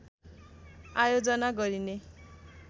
आयोजना गरिने